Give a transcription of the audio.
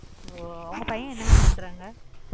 உங்க பையன் என்ன mam பன்றாக